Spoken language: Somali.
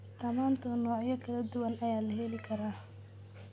Tamaandho noocyo kala duwan leh ayaa la heli karaa.